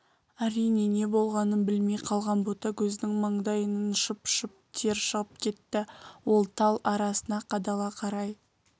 әрине не болғанын білмей қалған ботагөздің маңдайынан шып-шып тер шығып кетті ол тал арасына қадала қарай